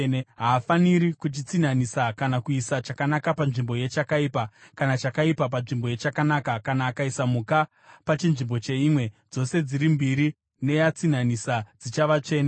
Haafaniri kuchitsinhanisa kana kuisa chakanaka panzvimbo yechakaipa, kana chakaipa panzvimbo yechakanaka; kana akaisa mhuka pachinzvimbo cheimwe, dzose dziri mbiri neyatsinhanisa dzichava tsvene.